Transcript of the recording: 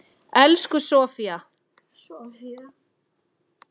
Elsku Sofía.